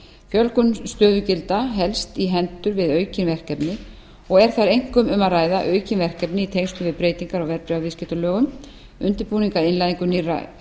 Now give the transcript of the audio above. fjölgun stöðugilda helst í hendur við aukin verkefni og er þar einkum um að ræða aukin verkefni í tengslum við breytingar á verðbréfaviðskiptalögum undirbúning að innleiðingu nýrra